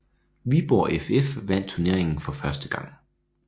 Viborg FF vandt turneringen for første gang